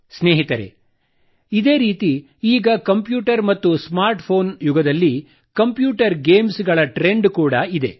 ಸ್ನೇಹಿತರೆ ಇದೇ ರೀತಿ ಈಗ ಕಂಪ್ಯೂಟರ್ ಮತ್ತು ಸ್ಮಾರ್ಟ್ ಫೋನ್ ಈ ಯುಗದಲ್ಲಿ ಕಂಪ್ಯೂಟರ್ ಗೇಮ್ಸ್ ಗಳ ಟ್ರೆಂಡ್ ಕೂಡ ಇದೆ